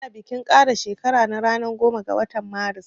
Ina bikin kara shekara na ranan goma ga watan marus